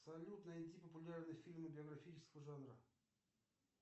салют найди популярные фильмы биографического жанра